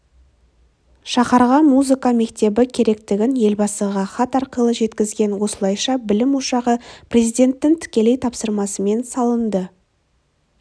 шаһарға музыка мектебі керектігін елбасыға хат арқылы жеткізген осылайша білім ошағы президенттің тікелей тапсырмасымен салынды